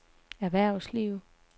erhvervsliv